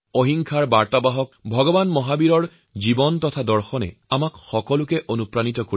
অহিংসাৰ প্ৰচাৰক ভগবান মহাবীৰৰ জীৱন আৰু দৰ্শন আমাৰ বাবে প্ৰেৰণা